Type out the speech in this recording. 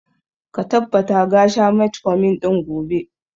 Ka tabbata ga sha metformin ɗin gobe!